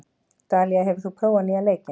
Dalía, hefur þú prófað nýja leikinn?